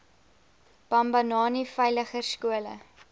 bambanani veiliger skole